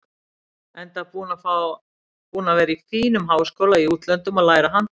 Enda búinn að vera í fínum háskóla í útlöndum að læra handbolta.